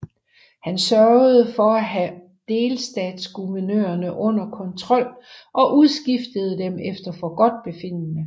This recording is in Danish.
Han sørgede for at have delstatsguvernørerne under kontrol og udskiftede dem efter forgodtbefindende